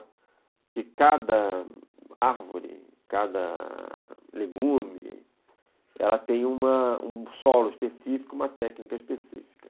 Porque cada árvore, cada legume, ela tem uma um solo específico, uma técnica específica.